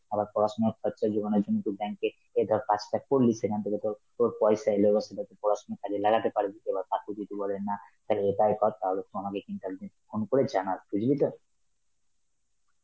আবার পড়াশোনার খরচা জোগানোর জন্য তুই bank এ এ ধর কাজটা করলি সেখান থেকে ধর তোর পয়সা এলো, আর সেটা তুই পড়াশোনার কাজে লাগাতে পারবি, এবার কাকু যদি বলে না তাহলে তাই কথা হবে তো আমাকে কিন্তু একদিন phone করে জানাস দেখবে তো?